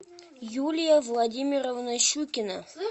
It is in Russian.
юлия владимировна щукина